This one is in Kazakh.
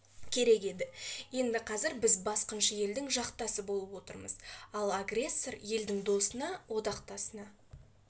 керек еді енді қазір біз басқыншы елдің жақтасы болып отырмыз ал агрессор елдің досына одақтасына